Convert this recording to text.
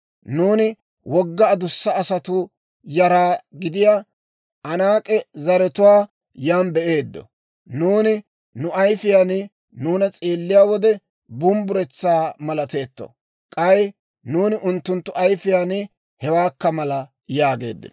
Nuuni wogga adussa asatuu yara gidiyaa Anaak'e zaratuwaa yan be'eeddo; nuuni nu ayifiyaan nuuna s'eelliyaa wode bumbburetsaa malateetto; k'ay nuuni unttunttu ayifiyaan hewaakka mala» yaageeddino.